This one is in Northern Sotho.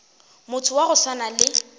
motho wa go swana le